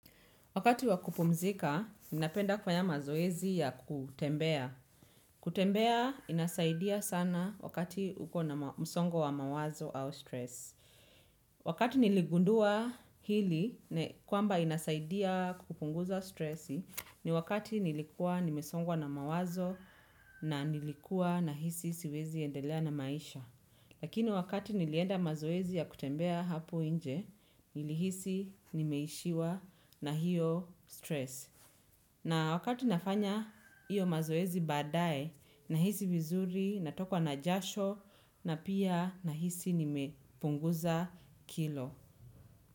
Wakati wakupumzika, mimi napenda kufanya mazoezi ya kutembea. Kutembea, inasaidia sana wakati uko na msongo wa mawazo au stress. Wakati niligundua hili, kwamba inasaidia kupunguza stress, ni wakati nilikuwa nimesongwa na mawazo na nilikuwa na hisi siwezi endelea na maisha. Lakini wakati nilienda mazoezi ya kutembea hapo nje, nilihisi nimeishiwa na hiyo stress. Na wakati nafanya hiyo mazoezi baadae, nahisi vizuri, natokwa na jasho, na pia nahisi nimepunguza kilo.